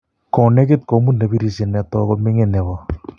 konekit komut nebirisie netoko ming'in nebo